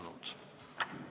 Istungi lõpp kell 11.40.